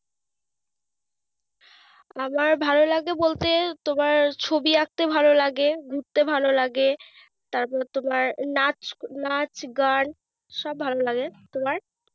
আমার ভালো লাগে বলতে তোমার ছবি আঁকতে ভালো লাগে, ঘুরতে ভালো লাগে। তারপরে তোমার নাচ নাচ গান সব ভালোলাগে। তোমার?